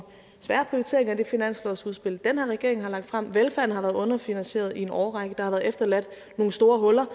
svære prioriteringer i det finanslovsudspil den her regering har lagt frem velfærden har været underfinansieret i en årrække der har været efterladt nogle store huller